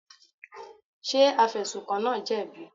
Ṣé afẹ̀sùnkàn náà jẹ̀bi?